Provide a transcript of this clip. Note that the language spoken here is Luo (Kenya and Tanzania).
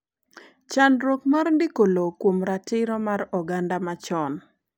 chendruok mar ndiko lowo kuom ratiro mar oganda machon